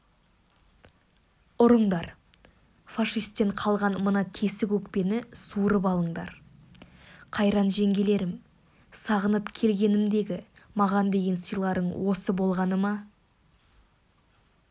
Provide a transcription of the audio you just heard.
ұрыңдар фашистен қалған мына тесік өкпені суырып алыңдар қайран жеңгелерім сағынып келгенімдегі маған деген сыйларың осы болғаны ма